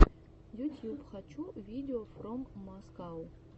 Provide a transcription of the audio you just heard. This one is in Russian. ютьюб хочу видеофроммаскау